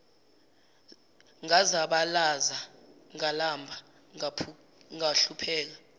ngazabalaza ngalamba ngahlupheka